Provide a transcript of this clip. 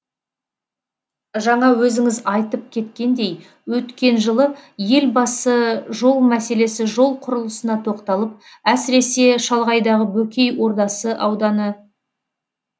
жаңа өзіңіз айтып кеткендей өткен жылы елбасы жол мәселесі жол құрылысына тоқталып әсіресе шалғайдағы бөкей ордасы ауданы